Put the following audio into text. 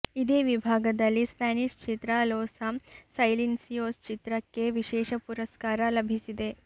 ಇದೇ ವಿಭಾಗದಲ್ಲಿ ಸ್ಪ್ಯಾನಿಶ್ ಚಿತ್ರ ಲೊಸ ಸೈಲೆನ್ಸಿಯೋಸ್ ಚಿತ್ರ ಕ್ಕೆ ವಿಶೇಷ ಪುರಸ್ಕಾರ ಲಭಿಸಿದೆ